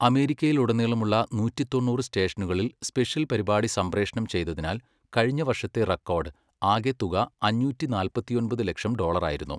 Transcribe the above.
അമേരിക്കയിലുടനീളമുള്ള നൂറ്റി തൊണ്ണൂറ് സ്റ്റേഷനുകളിൽ സ്പെഷ്യൽ പരിപാടി സംപ്രേഷണം ചെയ്തതിനാൽ കഴിഞ്ഞ വർഷത്തെ റെക്കോർഡ് ആകെ തുക അഞ്ഞൂറ്റി നാല്പത്തിയൊമ്പത് ലക്ഷം ഡോളറായിരുന്നു.